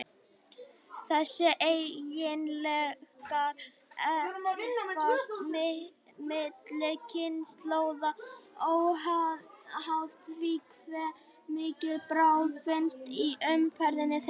Þessir eiginleikar erfast milli kynslóða, óháð því hve mikil bráð finnst í umhverfi þeirra.